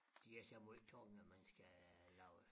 De er så måj tunge man skal lave